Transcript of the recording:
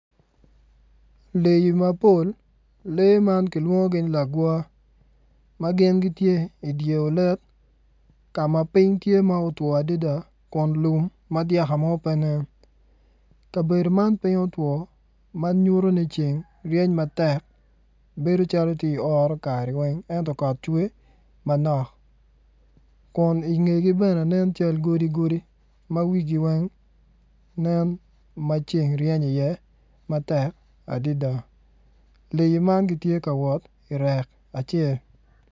Leyi mapol lee ma kilwongogi ni lagwa ma gin gitye idye olet ka ma piny tye ma otwoo adada kun lum ma dyaka pe nen kabedo man piny otwoo manyuto ni ceng reny matek bedo wai ti oroo kare went ento kot cwer manok Kun ingegi bene nen cal godi godi ma wifi went nen ma ceng reny iye matek adida leyi man giti ka wot irek acel